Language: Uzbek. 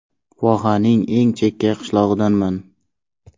Vohaning eng chekka qishlog‘idanman.